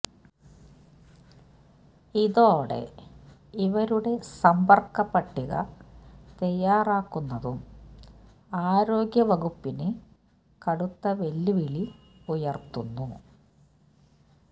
ഇതോടെ ഇവരുടെ സമ്പർക്ക പട്ടിക തയ്യാറാക്കുന്നതും ആരോഗ്യവകുപ്പിന് കടുത്ത വെല്ലുവിളി ഉയര്ത്തുന്നു